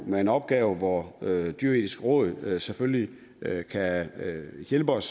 med en opgave hvor dyreetisk råd selvfølgelig kan hjælpe os